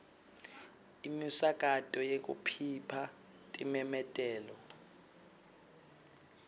imisakato yekukhipha timemetelo